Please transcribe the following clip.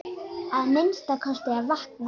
Að minnsta kosti að vakna.